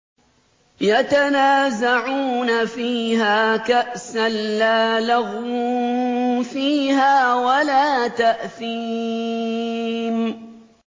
يَتَنَازَعُونَ فِيهَا كَأْسًا لَّا لَغْوٌ فِيهَا وَلَا تَأْثِيمٌ